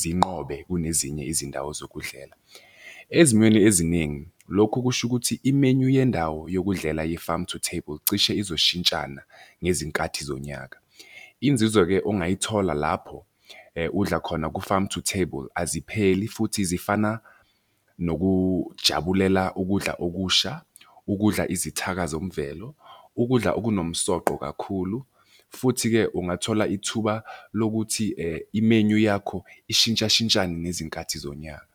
zinqobe kunezinye izindawo zokudlela. Ezimweni eziningi, lokhu kusho ukuthi i-menu yendawo yokudlela ye-farm-to-table cishe izoshintshana ngezinkathi zonyaka. Inzuzo-ke ongayithola lapho udla khona ku-farm-to-table azipheli futhi zifana nokujabulela ukudla okusha, ukudla izithaka zomvelo, ukudla okunomsoqo kakhulu, futhi-ke ungathola ithuba lokuthi i-menu yakho ishintshashintshane ngezinkathi zonyaka.